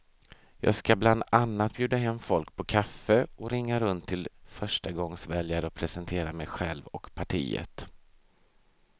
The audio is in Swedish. Jag ska bland annat bjuda hem folk på kaffe och ringa runt till förstagångsväljare och presentera mig själv och partiet.